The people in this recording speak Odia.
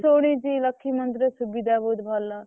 ହଁ ମୁଁ ଶୁଣିଛି ଲକ୍ଷ୍ମୀ ମନ୍ଦିର ସୁବିଧା ବହୁତ୍ ଭଲ।